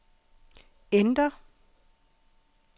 enter